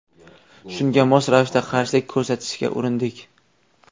Shunga mos ravishda qarshilik ko‘rsatishga urindik.